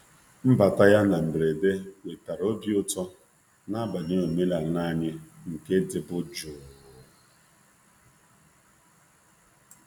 Mbata ya na mberede wetara obi ụtọ n’abalị omenala anyị nke dịbu jụụ.